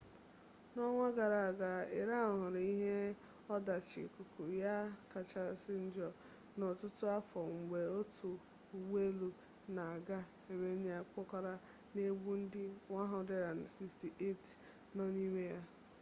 n'ọnwa gara aga iran hụrụ ihe ọdachi ikuku ya kachasị njọ n'ọtụtụ afọ mgbe otu ụgbọ elu na-aga amenịa kpọkara na-egbu ndị 168 nọ n'ime ya